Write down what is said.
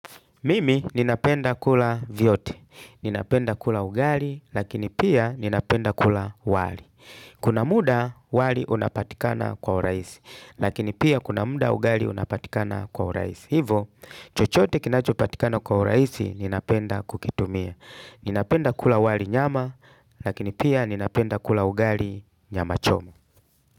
Mimi ninapenda kula vyote. Ninapenda kula ugali lakini pia ninapenda kula wali. Kuna muda wali unapatikana kwa uraisi lakini pia kuna muda ugali unapatikana kwa uraisi. Hivo chochote kinacho patikana kwa uraisi ninapenda kukitumia. Ninapenda kula wali nyama lakini pia ninapenda kula ugali nyama choma.